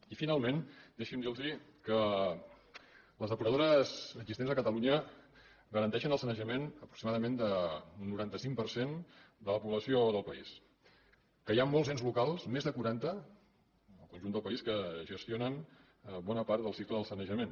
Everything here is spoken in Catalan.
i finalment deixi’m dir los que les depuradores existents a catalunya garanteixen el sanejament aproximadament d’un noranta cinc per cent de la població o del país que hi ha molts ens locals més de quaranta en el conjunt del país que gestionen bona part del cicle del sanejament